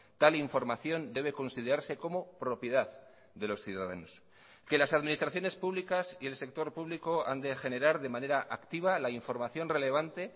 tal información debe considerarse como propiedad de los ciudadanos que las administraciones públicas y el sector público han de generar de manera activa la información relevante